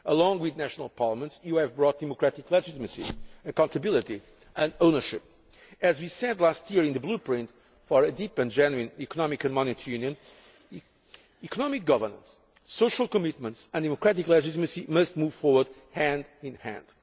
Along with national parliaments, you have brought democratic legitimacy, accountability and ownership. As we said last year in the blueprint for a Deep and Genuine Economic and Monetary Union, economic governance, social commitments and democratic legitimacy must move forward hand in